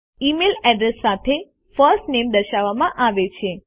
email address સાથે first names દર્શાવવામાં આવે છે